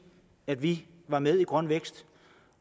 at vi var med i grøn vækst